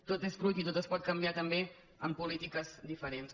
tot és fruit i tot es pot canviar també amb polítiques diferents